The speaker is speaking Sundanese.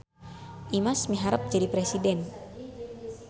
Imas miharep jadi presiden